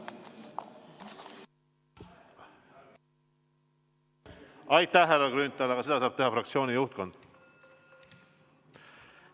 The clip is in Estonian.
Aitäh, härra Grünthal, aga seda saab paluda fraktsiooni juhtkond.